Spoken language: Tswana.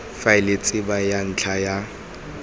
faele tsebe ya ntlha ya